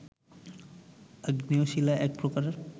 আগ্নেয় শিলা এক প্রকার